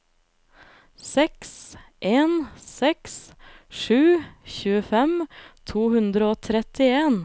seks en seks sju tjuefem to hundre og trettien